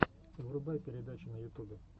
врубай передачи на ютубе